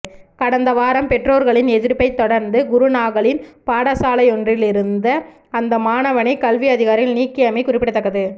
கடந்த வாரம் பெற்றோர்களின் எதிர்ப்பை தொடர்ந்து குருநாகலின் பாடசாலையொன்றிலிருந்த அந்த மாணவனை கல்வி அதிகாரிகள் நீக்கியமை குறிப்பிடத்தக்கது